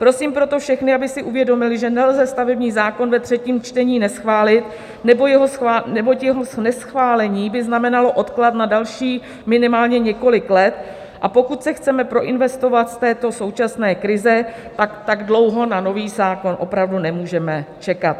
Prosím proto všechny, aby si uvědomili, že nelze stavební zákon ve třetím čtení neschválit, neboť jeho neschválení by znamenalo odklad na dalších minimálně několik let, a pokud se chceme proinvestovat z této současné krize, tak dlouho na nový zákon opravdu nemůžeme čekat.